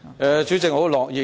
代理主席，我很樂意解釋。